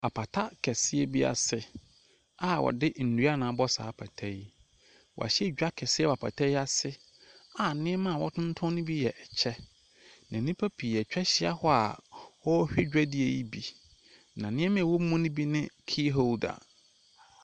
Apata kɛseɛ bi ase a wɔde nnua na abɔ saa apata yi. Wɔahyɛ dwa kɛse wɔ apata yi ase a nneɛma awɔretontɔn ne bi yɛ kyɛ. Na nnipa pii atwa ahyia hɔ a wɔrehwɛ dwadie yi bi. Na nneɛma ɛwɔ mu ne bi ne key holder.